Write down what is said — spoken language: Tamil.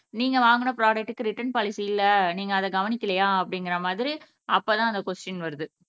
நீங்க வாங்குன ப்ராடக்ட்க்கு ரிட்டன் பாலிசி இல்ல நீங்க அத கவனிக்கலையா அப்படிங்குற மாதிரி அப்ப தான் அந்த கொஷ்டின் வருது